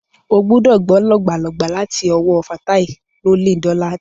Ó gbúdọ̀ gbọ́ lògbàlògbà láti ọwọ́ Fatai Rolling Dollar.